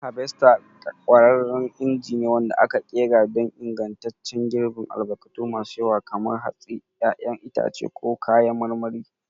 Harvester ƙwararren inji ne wanda aka ƙera don ingantaccen girbin albarkatu masu yawa kamar hatsi, 'ya'yan itace, ko kayan marmari.